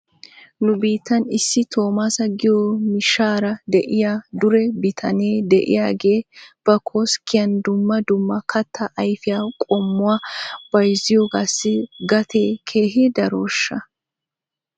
Nu biittan issi Toommaasa giyo miishshaara de'iyaa dure bitanee de'iyaagee ba koskkiyaan dumma dumma kattaa ayfiyaa qommuwaa bayzziyoogaassi gatee keehi darooshsha?